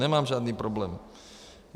Nemám žádný problém.